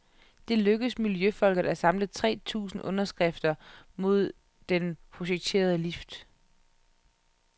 Det lykkedes miljøfolket at samle tre tusind underskrifter mod den projekterede lift.